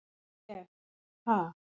ég- ha?